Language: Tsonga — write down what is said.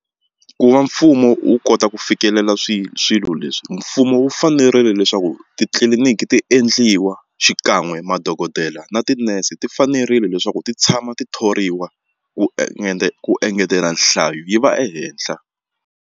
Ku va mfumo wu kota ku fikelela swilo swilo leswi mfumo wu fanerile leswaku titliliniki ti endliwa xikan'we madokodela na tinese ti fanerile leswaku ti tshama ti thoriwa ku ku engetela nhlayo yi va ehenhla.